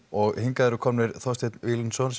og hingað eru komin Þorsteinn Víglundsson